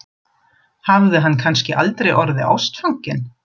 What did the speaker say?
Hún hefur sennilega lifað við jökuljaðar í Breiðavík.